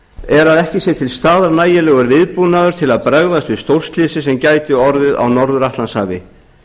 er að ekki sé til staðar nægilegur viðbúnaður til að bregðast við stórslysi sem gæti orðið á norður atlantshafi